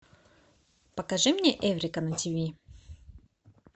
покажи мне эврика на тиви